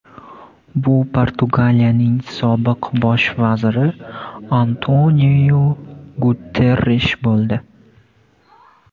Bu Portugaliyaning sobiq bosh vaziri Antoniu Guterrish bo‘ldi.